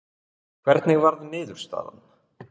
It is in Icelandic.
Hvernig varð niðurstaðan?